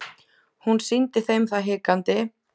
Hún sýndi þeim það hikandi.